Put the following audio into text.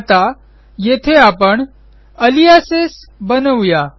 आता येथे आपण अलियासेस बनवू या